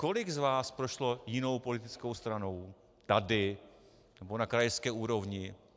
Kolik z vás prošlo jinou politickou stranou, tady nebo na krajské úrovni?